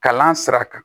Kalan sira kan